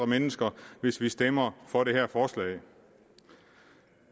mennesker hvis vi stemmer for det her forslag